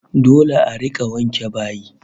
Dole a rika wanke bayi